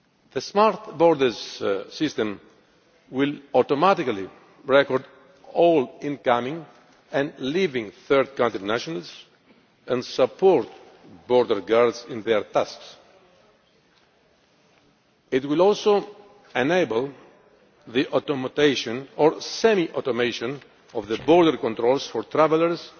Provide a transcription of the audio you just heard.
The smart borders system will automatically record all incoming and outgoing third country nationals and will support border guards in their tasks. It will also enable the automation or semi automation of the border controls for travellers